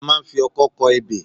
A máa ń ń fi ọkọ́ kọ ebè.